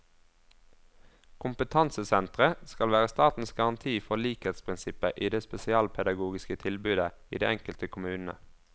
Kompetansesentre skal være statens garanti for likhetsprinsippet i det spesialpedagogiske tilbudet i de enkelte kommunene.